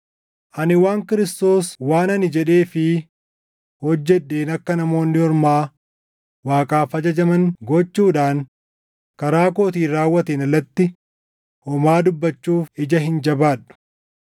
Ani waan Kiristoos waan ani jedhee fi hojjedheen akka Namoonni Ormaa Waaqaaf ajajaman gochuudhaan karaa kootiin raawwateen alatti homaa dubbachuuf ija hin jabaadhu;